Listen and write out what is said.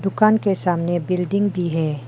दुकान के सामने बिल्डिंग भी है।